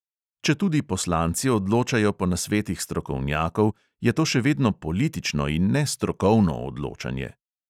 Četudi poslanci odločajo po nasvetih strokovnjakov, je to še vedno politično in ne strokovno odločanje!